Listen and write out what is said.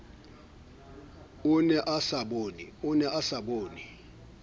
o ne a sa bone